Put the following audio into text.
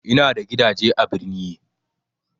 Ina da gidaje a birni